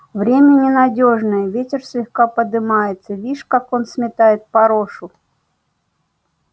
время ненадёжно ветер слегка подымается вишь как он сметает порошу